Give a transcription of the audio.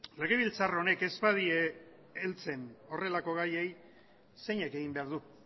legebiltzar honek ez badie heltzen horrelako gaiei zeinek egin behar du